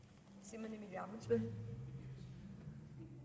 men vi